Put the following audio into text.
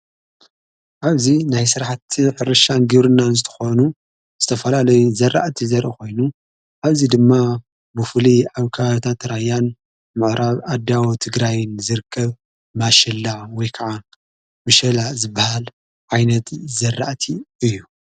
ኣብዙ ናይ ሥርሓቲ ሕርሻን ጌቡሩናን ዝተኾኑ ዝተፈልለይ ዘርእቲ ዘረ ኾይኑ ኣብዚ ድማ ብፉሊ ኣውካታ ተራያን ምዕራብ ኣዳዎ ት ግራይን ዘርከብ ማሸላዓ ወይ ከዓ ምሸላ ዝበሃል ዓይነት ዘርእቲ እዩ።